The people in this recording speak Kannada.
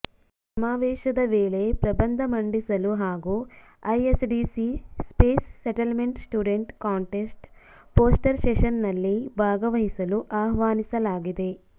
ಈ ಸಮಾವೇಶದ ವೇಳೆ ಪ್ರಬಂಧ ಮಂಡಿಸಲು ಹಾಗೂ ISDC space settlement student contest poster ಸೆಷನ್ಸ್ನಲ್ಲಿ ಭಾಗವಹಿಸಲು ಆಹ್ವಾನಿಸಲಾಗಿದೆ